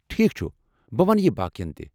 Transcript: ٹھیک چھٗ، بہٕ ونہٕ یہِ باقٮ۪ن تہِ۔